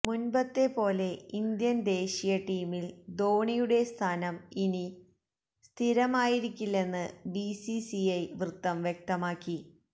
മുന്പത്തെപോലെ Indian ദേശീയ ടീമില് ധോണിയുടെ സ്ഥാനം ഇനി സ്ഥിരമായിരിക്കില്ലെന്ന് ബിസിസിഐ വൃത്തം വ്യക്തമാക്കി